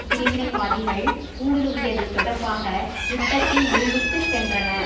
பிரிவினைவாதிகள் ஊடுருவியது தொடர்பாக யுத்தத்தின் விளிம்புக்குச் சென்றன